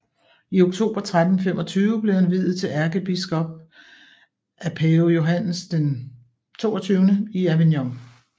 I oktober 1325 blev han viet til ærkebiskop af pave Johannes XXII i Avignon